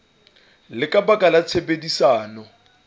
le ka baka la tshebedisano